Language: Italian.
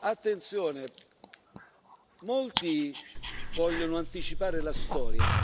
Attenzione molti vogliono anticipare la storia.